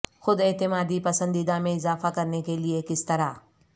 خود اعتمادی پسندیدہ میں اضافہ کرنے کے لئے کس طرح